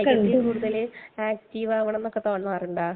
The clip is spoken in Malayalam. കായികത്തിൽ കൂടുതൽ ആക്ടിവാകണം എന്നൊക്കെ തോന്നാറുണ്ടോ?